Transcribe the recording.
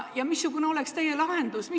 Missugune oleks teie lahendus?